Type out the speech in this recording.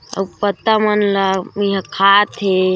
अउ पत्ता मन ला ए हा खा थे--